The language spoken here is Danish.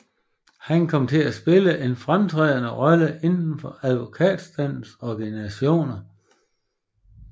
Han kom til at spille en fremtrædende rolle inden for advokatstandens organisationer